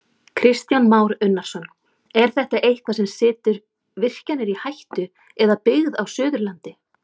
Kristján Már Unnarsson: Er þetta eitthvað sem situr virkjanir í hættu eða byggð á Suðurlandi?